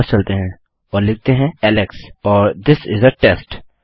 चलिए वापस चलते हैं और लिखते हैं एलेक्स और थिस इस आ टेस्ट